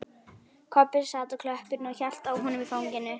Kobbi sat á klöppinni og hélt á honum í fanginu.